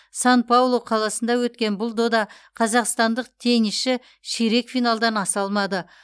сан паулу қаласында өткен бұл додада қазақстандық теннисші ширек финалдан аса алмады